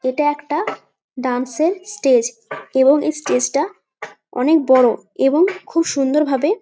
এটা একটা ডান্স এর স্টেজ এবং এই স্টেজ টা অনেক বড় এবং খুব সুন্দরভাবে।